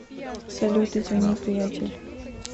салют извини приятель